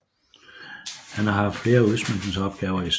Han har haft flere udsmykningsopgaver i Stockholm